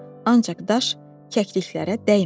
Ancaq daş kəkliklərə dəymədi.